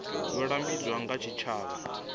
yo lambedzwaho nga tshitshavha i